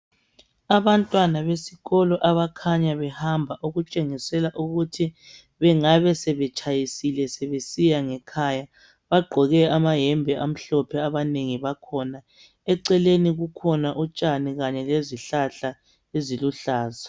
Abantwana besikolo abakhanya behamba okutshengisela ukuthi bengabe sebetshayisile sebesiya ngekhaya bagqoke amayembe amhlophe abanengi bakhona. Eceleni kukhona utshani kanye lezihlahla eziluhlaza.